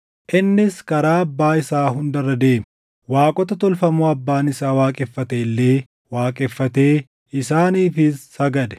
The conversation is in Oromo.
Innis karaa abbaa isaa hunda irra deeme; waaqota tolfamoo abbaan isaa waaqeffate illee waaqeffatee isaaniifis sagade.